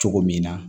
Cogo min na